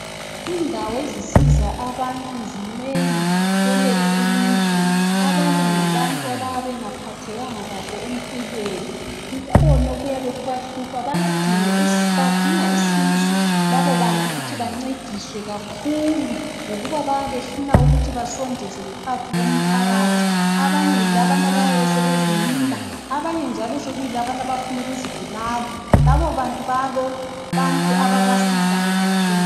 Indawo ezisiza abantu zinengi kwelethu ilizwe. Abanye ngabantu abayabe bengaphathekanga kahle empilweni badinga usizo labobantu ukuthi bancediswe kakhulu ngokubanbayabe befuna ukuthi basondezwe phakathi komphakathi. Abanye yilabana abayabe sebezinina abanye sekuyilabana abafuna ukuzibulala labobantu balabantu ababasizayo kakhulu.